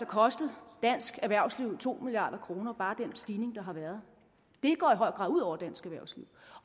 kostet dansk erhvervsliv to milliard kroner bare med den stigning der har været det går i høj grad ud over dansk erhvervsliv